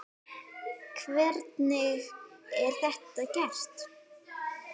Hvernig er þetta gert?